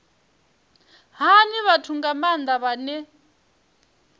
hani vhathu nga maanda vhane